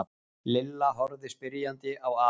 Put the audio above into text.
Lilla horfði spyrjandi á afa.